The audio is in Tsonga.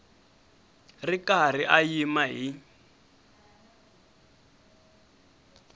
ri karhi a yima hi